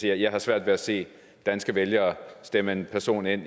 jeg har svært ved at se danske vælgere stemme en person